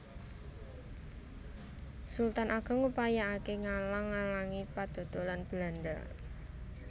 Sultan Ageng ngupayaake ngalang ngalangi padodolan Belanda